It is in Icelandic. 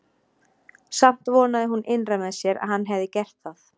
Samt vonaði hún innra með sér að hann hefði gert það.